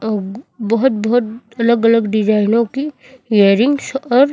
अह बहुत बहुत अलग-अलग डिजाइनों की इयररिंग्स और --